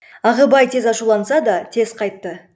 ағыбай тез ашуланса да тез қайтты